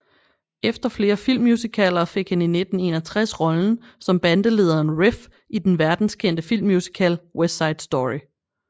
Efter flere filmmusicaler fik han i 1961 rollen som bandelederen Riff i den verdenskendte filmmusical West Side Story